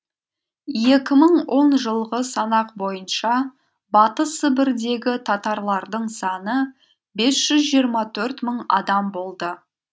екі мың он жылғы санақ бойынша батыс сібірдегі татарлардың саны бес жүз жиырма төрт мың адам болды